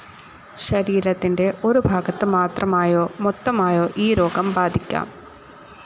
ശരീരത്തിന്റെ ഒരു ഭാഗത്ത് മാത്രമായോ മൊത്തമായോ ഈ രോഗം ബാധിക്കാം.